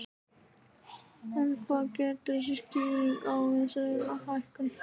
En hver getur verið skýringin á þessari hækkun?